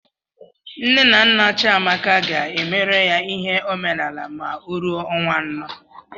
Nne na nna Chiamaka ga-emere ya ihe omenaala ma ọ ruo ọnwa anọ.